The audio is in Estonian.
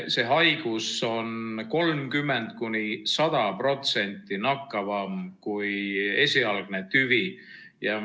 See haigus on 30–100% nakkavam kui esialgne tüvi.